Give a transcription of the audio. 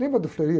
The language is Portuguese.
Lembra do?